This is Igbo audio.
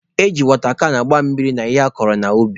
E ji wọta kan agba mmiri n'ihe akọrọ n'ubi.